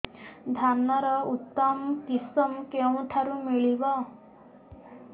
ଧାନର ଉତ୍ତମ କିଶମ କେଉଁଠାରୁ ମିଳିବ